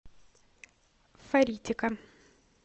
фаритика